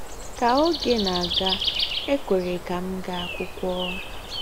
Ka oge na-aga, e kwere ka m gaa akwụkwọ.